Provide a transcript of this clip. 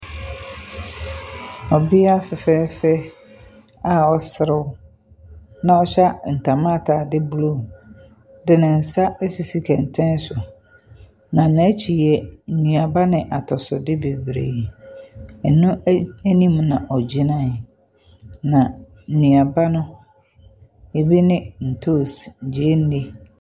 Ɔbea fɛfɛɛfɛ a ɔreserew, na ɔhyɛ ntama ataade blue de ne nsa asisi kɛntɛn so, na n'akyi yɛ nnuaba ne atosode bebree, ɛno anim na ɔginae. Na nnuaba no, ebu ne ntoosi, gyeene.